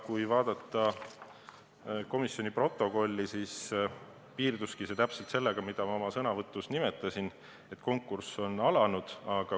Kui vaadata komisjoni protokolli, siis näeb, et arutelu piirduski sellega, mida ma oma sõnavõtus nimetasin: konkurss on alanud.